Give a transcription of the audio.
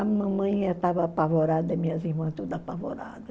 A mamãe estava apavorada, minhas irmãs toda apavorada.